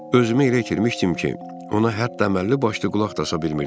Özümü elə itirmişdim ki, ona hətta əməlli-başlı qulaq da asa bilmirdim.